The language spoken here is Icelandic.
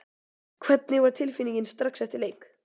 Hvernig var tilfinningin strax eftir leik?